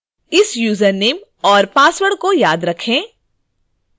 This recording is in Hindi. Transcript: इस यूजरनेम और पासवर्ड को याद रखें